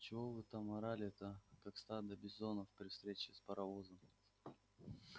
чего вы там орали-то как стадо бизонов при встрече с паровозом